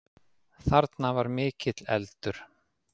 Þarna var mikill eldur